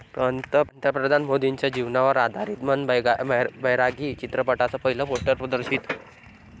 पंतप्रधान मोदींच्या जीवनावर आधारित 'मन बैरागी' चित्रपटाचं पहिलं पोस्टर प्रदर्शित